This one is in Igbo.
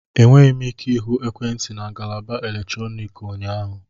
Enweghị m ike ịhụ ekwentị na ngalaba eletrọnịkị ụnyaahụ